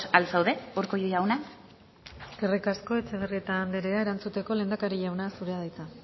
al zaude urkullu jauna eskerrik asko etxebarrieta andrea erantzuteko lehendakari jauna zurea da hitza